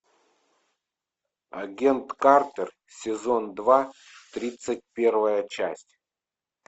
агент картер сезон два тридцать первая часть